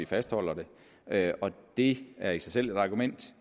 fastholdelse af det og det er i sig selv et argument